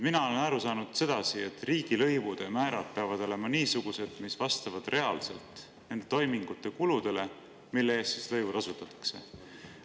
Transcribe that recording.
Mina olen aru saanud sedasi, et riigilõivude määrad peavad olema niisugused, mis vastavad reaalselt nende toimingute kuludele, mille eest lõivu tasutakse.